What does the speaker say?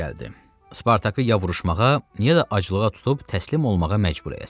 Spartakı ya vuruşmağa, ya da aclığa tutub təslim olmağa məcbur eləsin.